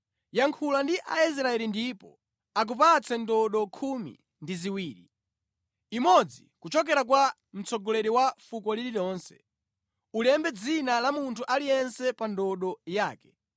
“Yankhula ndi Aisraeli ndipo akupatse ndodo khumi ndi ziwiri, imodzi kuchokera kwa mtsogoleri wa fuko lililonse. Ulembe dzina la munthu aliyense pa ndodo yake.